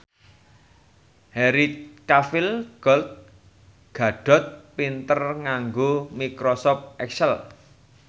Henry Cavill Gal Gadot pinter nganggo microsoft excel